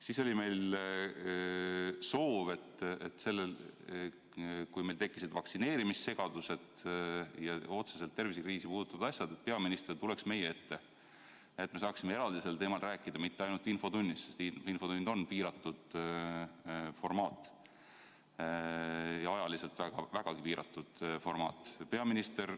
Meil oli soov, kui meil tekkisid vaktsineerimissegadus ja muud otseselt tervisekriisi puudutavad probleemid, et peaminister tuleks meie ette ja me saaksime eraldi sel teemal rääkida – mitte ainult infotunnis, sest infotund on piiratud formaat, ajaliselt vägagi piiratud formaat.